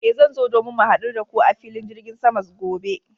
Eh, zan zo domin mu hadu da ku a filin jirgin sama gobe.